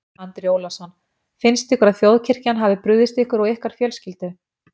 Andri Ólafsson: Finnst ykkur að þjóðkirkjan hafi brugðist ykkur og ykkar fjölskyldu?